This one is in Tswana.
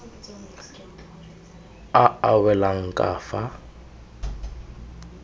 a a welang ka fa